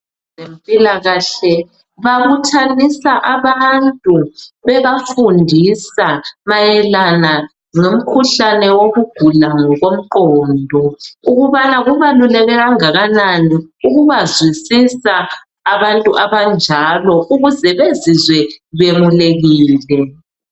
Abezempilakahle babuthanisa abantu bebafundisa mayelana lomkhuhlane wokugula ngokomqondo ukubana kubaluleke kangakanani ukubazwisisa abantu abanjalo ukuze bezizwe bemulekile